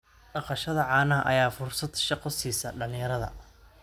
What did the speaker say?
Dhaqashada caanaha ayaa fursad shaqo siisa dhalinyarada.